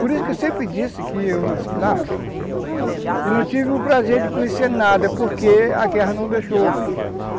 Por isso que eu sempre disse que eu nasci lá e não tive o prazer de conhecer nada, porque a guerra não deixou.